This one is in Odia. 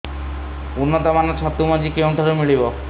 ଉନ୍ନତ ମାନର ଛତୁ ମଞ୍ଜି କେଉଁ ଠାରୁ ମିଳିବ